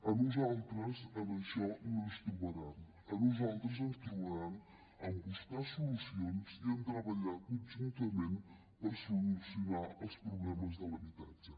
a nosaltres en això no ens hi trobaran a nosaltres ens trobaran en buscar solucions i en treballar conjuntament per solucionar els problemes de l’habitatge